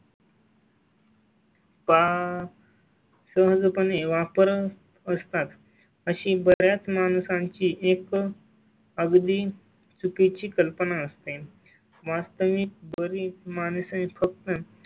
वा. तुम जो पणे वापर असतात अशी बर् याच माणसांची एक अगदी चुकी ची कल्पना असते. वास्तविक बरीच माणसे फक्त